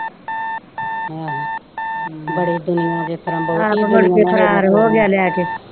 ਆਪ ਮੁੜਕੇ ਫਰਾਰ ਹੋਗਿਆ ਲੈ ਕੇ।